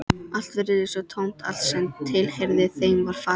Allt virtist svo tómt, allt sem tilheyrði þeim var farið.